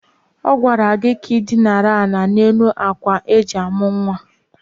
A gwara gị ka ị dinara ala n'elu akwa eji amụ̀ nwa!